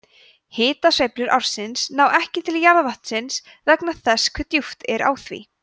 hitasveiflur ársins ná ekki til jarðvatnsins vegna þess hve djúpt er á því